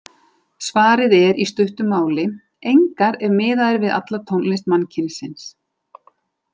Svarið er í stuttu máli: Engar- ef miðað er við alla tónlist mannkynsins.